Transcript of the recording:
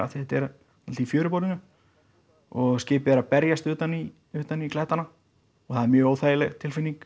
þetta er allt í fjöruborðinu og skipið er að berjast utan í utan í klettana og það er mjög óþægileg tilfinninga